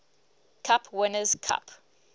cup winners cup